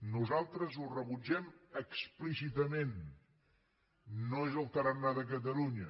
nosaltres ho rebutgem explícitament no és el tarannà de catalunya